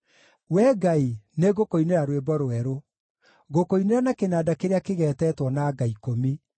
Wee Ngai, nĩngũkũinĩra rwĩmbo rwerũ; ngũkũinĩra na kĩnanda kĩrĩa kĩgeetetwo na nga ikũmi,